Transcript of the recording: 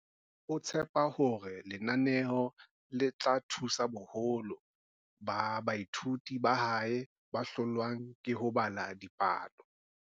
O tshepa hore lenaneo le tla thusa boholo ba baithuti ba hae ba hlolwang ke ho bala dipalo.